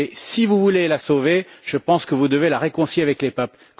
Mais si vous voulez la sauver, je pense que vous devez la réconcilier avec les peuples.